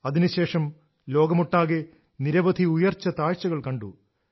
അതിനുശേഷം ലോകമൊട്ടകെ നിരവധി ഉയർച്ച താഴ്ചകൾ കണ്ടു